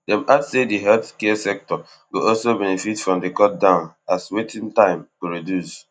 dem add say di healthcare sector go also benefit from di cut down as waiting time go reduce